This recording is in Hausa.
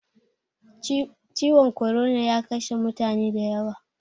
Ciwon korona ya kashe mutane da yawa